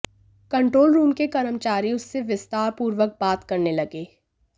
control room के कर्मचारी उससे विस्तार पूर्वक बात करने लगे